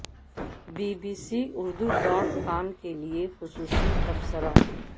be B C Urdu dot com کے لیے خصوصی تبصرہ